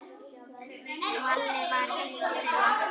Valli var einn þeirra.